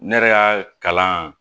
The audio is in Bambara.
Ne yɛrɛ y'a kalan